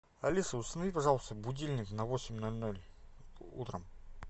алиса установи пожалуйста будильник на восемь ноль ноль утром